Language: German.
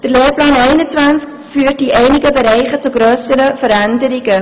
Der Lehrplan 21 führt in einigen Bereichen zu grösseren Veränderungen.